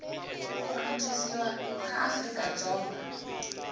ku antswisiwa ka afrika dzonga